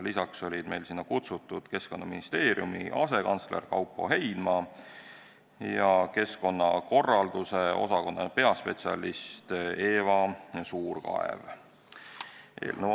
Lisaks olid kutsutud Keskkonnaministeeriumi asekantsler Kaupo Heinma ja keskkonnakorralduse osakonna peaspetsialist Eva Suurkaev.